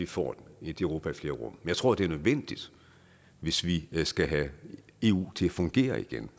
få et europa i flere rum jeg tror det er nødvendigt hvis vi skal have eu til at fungere igen